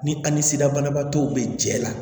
Ni a ni sira banabaatɔw bɛ jɛ la